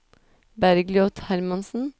Bergliot Hermansen